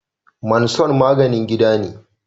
Manson maginin gida ne